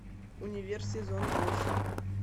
универ сезон восемь